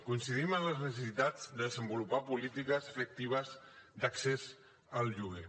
coincidim en les necessitats de desenvolupar polítiques efectives d’accés al lloguer